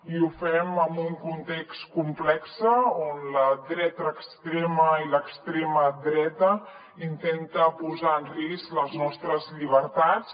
i ho fem en un context complex on la dreta extrema i l’extrema dreta intenten posar en risc les nostres llibertats